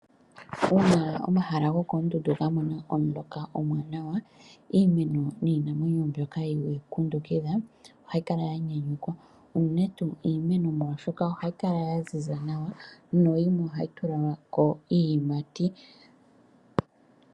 Uuna omahala gokondundu gamona omuloka omuwanawa imeno niinamwenyo mbyoka yili momukundukidhwa ohayi kala yanyanukwa unene tuu imeno oshoka ohayi kala yaziza nawa noyimwe ohayi tulako iiyimati.